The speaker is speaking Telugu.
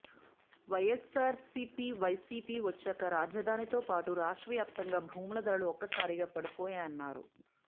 వైఎస్సార్సీపీ వైసీపీ వచ్చాక రాజధానితో పాటు రాష్ట్ర వ్యాప్తంగా భూముల ధరలు ఒక్కసారిగా పడిపోయాయన్నారు